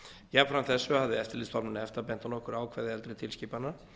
jafnframt þessu hafði eftirlitsstofnun efta bent á nokkur ákvæði eldri tilskipana